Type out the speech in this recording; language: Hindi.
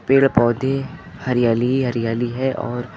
पेड़ पौधे हरियाली ही हरियाली है और--